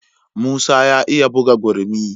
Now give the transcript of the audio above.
Musa ya iya buga gurmi.